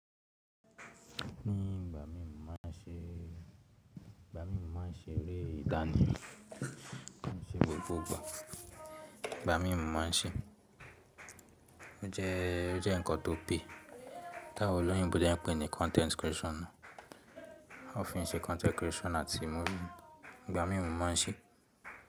Ní ìgbà mí mọ́ má ṣe eré ìdáànú, kí n ṣe gbogbo gbà. Ìgbà mí mọ́ má ṣe, o jẹ nkan tó pé. Táwòn olóyìnbo dé ń pè ní content creation. Wọ́n fi ń ṣe content creation àti múfì. Ìgbà mí mọ́ má n ṣe.